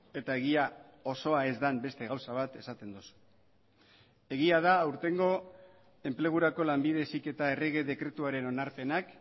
eta egia osoa ez den beste gauza bat esaten duzu egia da aurtengo enplegurako lanbide heziketa errege dekretuaren onarpenak